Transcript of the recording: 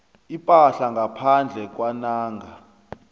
ipahla ngaphandle kwanange